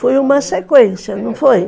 Foi uma sequência, não foi?